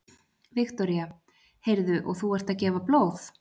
Viktoría: Heyrðu, og þú ert að gefa blóð?